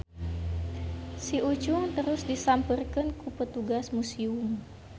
Si Ucung terus disampeurkeun ku petugas musium.